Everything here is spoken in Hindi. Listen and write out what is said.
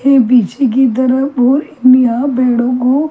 एक पीछे की तरफ यहा भेड़ों को --